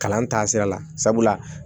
Kalan taasira la sabula